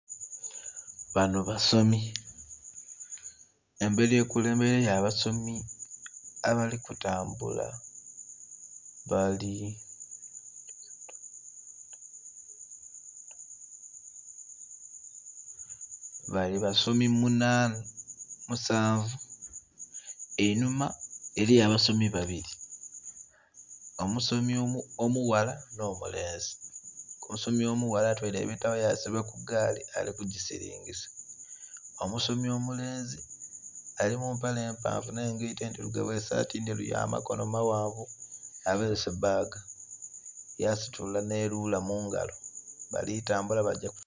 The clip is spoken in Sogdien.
Bano basomi emberi ekulembeireyo abasomi abali kutambula bali basomi musanvu einhuma eriyo abasomi babiri, omusomi omughala n'omulenzi, omusomi omughala atweire ebitabo yasiba kugaali ali kugisiringisa, omusomi omulenzi ali mumpale empanvu n'engaito edhirugavu esaati endheru yamakono maghanvu abeese bbaga yasitula n'erula mungalo balitambula bagya...